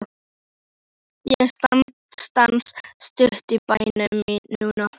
Ég stansa stutt í bænum núna.